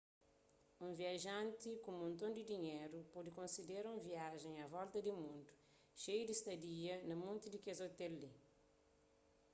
un viajanti ku monton di dinheru pode konsidera un viajen a volta di mundu xeiu di stadia na monti di kes ôtel li